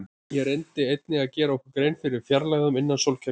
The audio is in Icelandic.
Við reyndum einnig að gera okkur grein fyrir fjarlægðunum innan sólkerfisins.